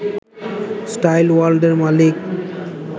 style ওয়ার্ল্ডের মালিক